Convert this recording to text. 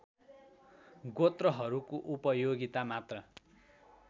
गोत्रहरूको उपायोगिता मात्र